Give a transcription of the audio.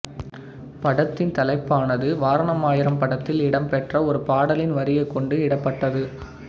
படத்தின் தலைப்பானது வாரணம் ஆயிரம் படத்தில் இடம்பெற்ற ஒரு பாடலின் வரியைக் கொண்டு இடப்பட்டது